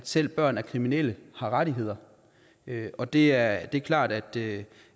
selv børn af kriminelle har rettigheder og det er klart at det